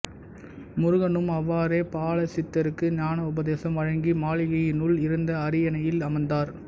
முருகனும் அவ்வாறே பாலசித்தருக்கு ஞான உபதேசம் வழங்கி மாளிகையினுள் இருந்த அரியணையில் அமர்ந்தார்